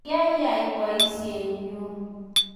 Kyayei boisienyu